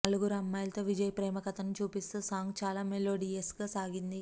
నలుగురు అమ్మాయిలతో విజయ్ ప్రేమ కథను చూపిస్తూ సాంగ్ చాల మెలోడియస్ గా సాగింది